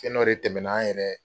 Ko n'o de tɛmɛna, an yɛrɛ